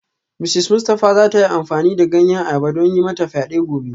Mrs Mustafa za ta yi amfani da ganyen ayaba don yi mata fyade gobe